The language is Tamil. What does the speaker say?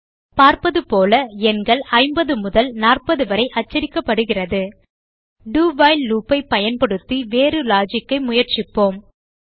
பார்ப்பது போல எண்கள் 50 முதல் 40 வரை அச்சடிக்கப்படுகிறது do வைல் loop ஐ பயன்படுத்தி வேறு லாஜிக் ஐ முயற்சிப்போம்